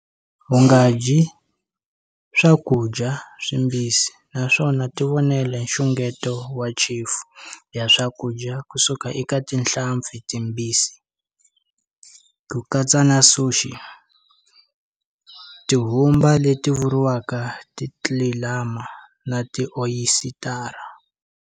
U nga dyi swakudya swimbisi naswona tivonele nxungeto wa chefu ya swakudya ku suka eka tihlampfi timbisi, ku katsa na suxi, tihumba leti vuriwaka titlilama na ti oyisitara.